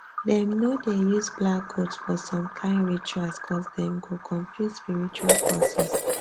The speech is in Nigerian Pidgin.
dem no dey use black goat for some kind rituals coz dem go confuse spiritual forces